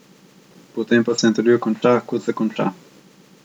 Potem pa se intervju konča, kot se konča.